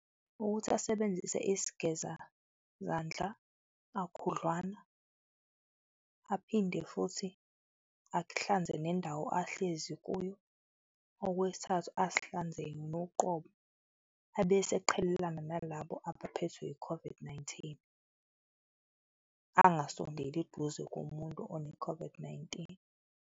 Ukuthi asebenzise isigezazandla kakhudlwana aphinde futhi ahlanze nendawo ahlezi kuyo. Okwesithathu, azihlanze yena uqobo abese eqhelelena nalabo abaphethwe i-COVID-Nineteen, angasondeli eduze komuntu one-COVID-Nineteen.